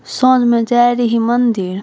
साझ में जाय रही मंदिर।